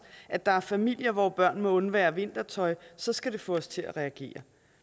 at der er familier hvor børn må undvære vintertøj så skal det få os til at reagere